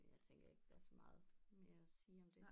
Jeg tænker ikke der er så meget mere at sige om det